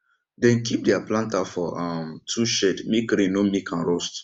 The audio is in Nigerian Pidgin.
dem keep deir planter for um tool shed make rain no make am rust